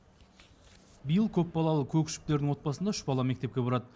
биыл көпбалалы көкішевтердің отбасында үш бала мектепке барады